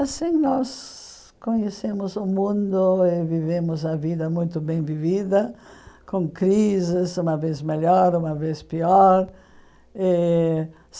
Assim nós conhecemos o mundo e vivemos a vida muito bem vivida, com crises, uma vez melhor, uma vez pior. Eh